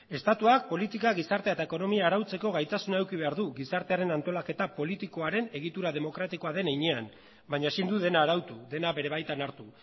estatuak politika gizartea eta ekonomia arautzeko gaitasuna eduki behar du gizartearen antolaketa politikoaren egitura demokratikoa den heinean baina ezin du dena arautu dena bere baitan hartu